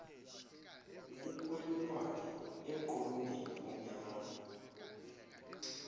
okwelulwane emqolombeni omnyama